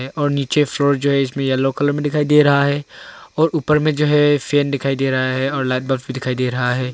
और नीचे फ्लोर जो है इसमें येलो कलर में दिखाई दे रहा है और ऊपर में जो है फैन दिखाई दे रहा है और लाइट बल्ब भी दिखाई दे रहा है।